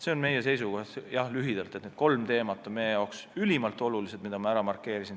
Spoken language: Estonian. See on meie seisukoht lühidalt, et need kolm markeeritud teemat on meie jaoks ülimalt olulised.